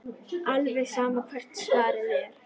Alveg sama hvert svarið er.